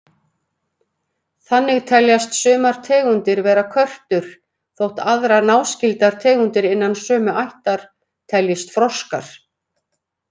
Þannig teljast sumar tegundir vera körtur þótt aðrar náskyldar tegundir innan sömu ættar teljist froskar.